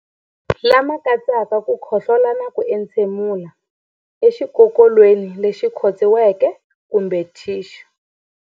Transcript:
Lama katsaka ku khohlola na ku entshemulela exikokolweni lexi khotsiweke kumbe thixu.